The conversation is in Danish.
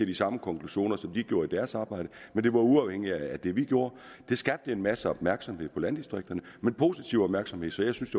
de samme konklusioner som de gjorde i deres arbejde men det var uafhængigt af det vi gjorde det skabte en masse opmærksomhed om landdistrikterne men positiv opmærksomhed så jeg synes